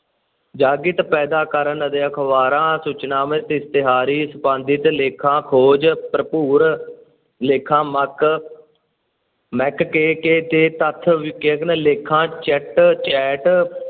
ਜਾਗ੍ਰਿਤ ਪੈਦਾ ਕਰਨ ਅਤੇ ਅਖ਼ਬਾਰਾਂ, ਸੂਚਨਾਵਾਂ, ਇਸ਼ਤਿਹਾਰੀ ਸੰਪਾਦਕ ਲੇਖਾਂ, ਖੋਜ ਭਰਪੂਰ ਲੇਖਾਂ, ਮਕ ਮੈਕ ਕੇ ਕੇ, ਕੇ ਤੱਥ ਲੇਖਾਂ, ਚੈਟ chat